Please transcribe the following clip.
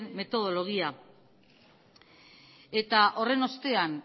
metodologia eta horren ostean